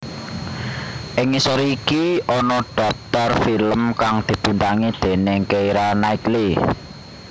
Ing ngisor iki dhaptar film kang dibintangi déning Keira Knightley